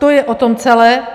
To je o tom celé.